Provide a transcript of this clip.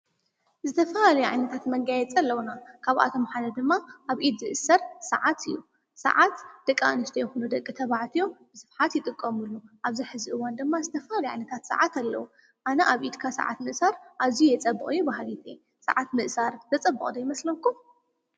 ዝተፋ ልዕንታት መንጊያ የጸለዉና ካብኣቶም መሓደ ድማ ኣብኢድ ዝእሠር ሰዓት እዩ ሰዓት ደቓ ንሽዶ ይኹኑ ደቂ ተብዓትዮም ብስፍሓት ይጥቀሙሉ ኣብዚ ሕዚእዋን ድማ ዝተፋ ልዕንታት ሰዓት ኣለዉ ኣነ ኣብ ኢድካ ሰዓት ምእሣር ኣዙይ የጸብቕየ ብሃጊጢ ሰዓት ምእሣር ዘጸበዖ ዶ ኣ ይመስለምኩም?